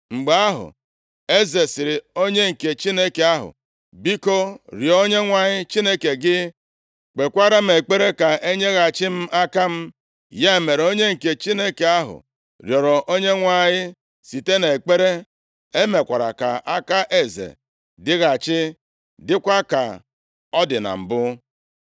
Mgbe ahụ, eze sịrị onye nke Chineke ahụ, “Biko, rịọọ Onyenwe anyị Chineke gị, kpekwara m ekpere ka e nyeghachi m aka m.” Ya mere, onye nke Chineke ahụ rịọrọ Onyenwe anyị site nʼekpere, emekwara ka aka eze dịghachi dịkwa ka ọ dị na mbụ.